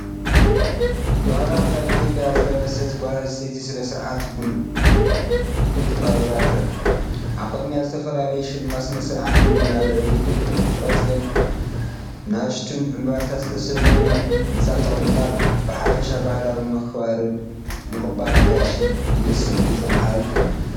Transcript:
ባህላዊ ክዳን ኢትዮጵያ ዝለበሰት ጓል ኣንስተይቲ ስነ-ስርዓት ቡን ቀሪባ ትረአ። ኣብ ቅድሚኣ ዝተፈላለየ ሽልማት ስነ-ስርዓት ቡንን ኣብ ልዕሊ ቆጽልን ንኣሽቱ ዕምባባታትን ዝተሸለመ ምንጻፍ ተቐሚጦም ኣለዉ። ብሓፈሻ ባህላዊ ምክብባርን ምቕባል ኣጋይሽን ዝብል ስምዒት ዘመሓላልፍ እዩ።